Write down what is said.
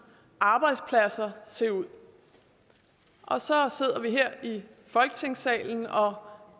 arbejdspladser se ud og så sidder vi her i folketingssalen og